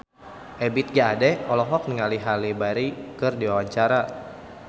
Ebith G. Ade olohok ningali Halle Berry keur diwawancara